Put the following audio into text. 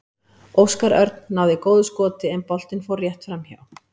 Óskar Örn náði góðu skoti en boltinn fór rétt framhjá.